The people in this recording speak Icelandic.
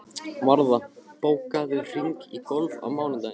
Varða, bókaðu hring í golf á mánudaginn.